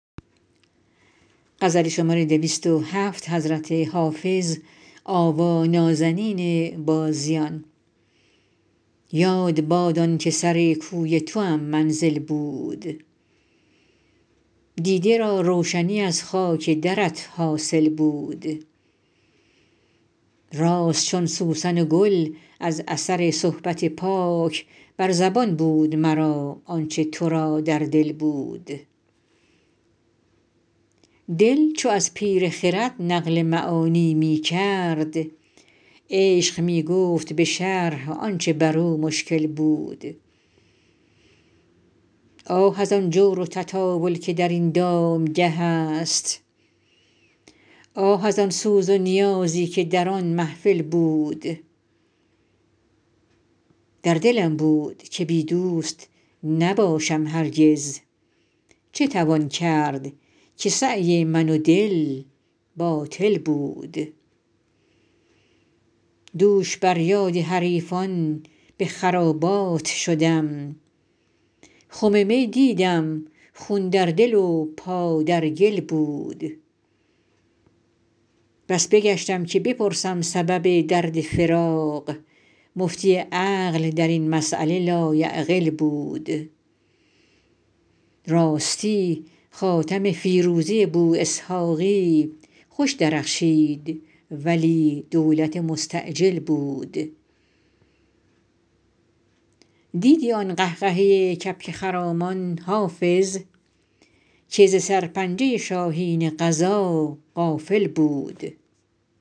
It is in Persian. یاد باد آن که سر کوی توام منزل بود دیده را روشنی از خاک درت حاصل بود راست چون سوسن و گل از اثر صحبت پاک بر زبان بود مرا آن چه تو را در دل بود دل چو از پیر خرد نقل معانی می کرد عشق می گفت به شرح آن چه بر او مشکل بود آه از آن جور و تطاول که در این دامگه است آه از آن سوز و نیازی که در آن محفل بود در دلم بود که بی دوست نباشم هرگز چه توان کرد که سعی من و دل باطل بود دوش بر یاد حریفان به خرابات شدم خم می دیدم خون در دل و پا در گل بود بس بگشتم که بپرسم سبب درد فراق مفتی عقل در این مسأله لایعقل بود راستی خاتم فیروزه بواسحاقی خوش درخشید ولی دولت مستعجل بود دیدی آن قهقهه کبک خرامان حافظ که ز سرپنجه شاهین قضا غافل بود